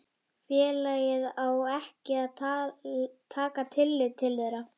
félagið á ekki að taka tillit til þeirra.